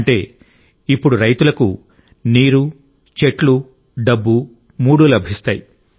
అంటే ఇప్పుడు రైతులకు నీరు చెట్లు డబ్బు మూడూ లభిస్తాయి